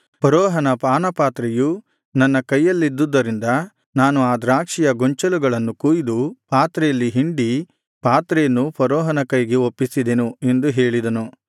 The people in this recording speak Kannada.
ಫರೋಹನ ಪಾನಪಾತ್ರೆಯು ನನ್ನ ಕೈಯಲ್ಲಿದ್ದದರಿಂದ ನಾನು ಆ ದ್ರಾಕ್ಷಿಯ ಗೊಂಚಲುಗಳನ್ನು ಕೊಯ್ದು ಪಾತ್ರೆಯಲ್ಲಿ ಹಿಂಡಿ ಪಾತ್ರೆಯನ್ನು ಫರೋಹನ ಕೈಗೆ ಒಪ್ಪಿಸಿದೆನು ಎಂದು ಹೇಳಿದನು